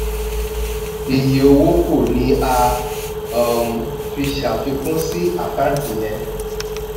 iye owó kù ni a um fi ṣàfikún sí àkáǹtì yẹn.